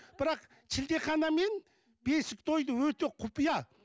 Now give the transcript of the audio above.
бірақ шілдехана мен бесік тойды өте құпия